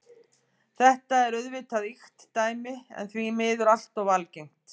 Þetta er auðvitað ýkt dæmi en því miður allt of algengt.